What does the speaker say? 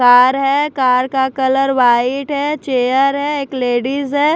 Car है car का colour white है चेयर है एक लेडीज है।